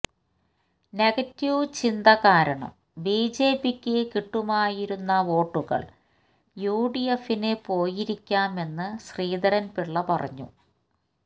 negative ചിന്ത കാരണം B J പിക്ക് കിട്ടുമായിരുന്ന വോട്ടുകള് യു ഡി എഫിന് പോയിരിക്കാമെന്ന് ശ്രീധരന് പിള്ള പറഞ്ഞു